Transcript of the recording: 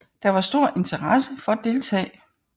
Der var stor interesse for at deltage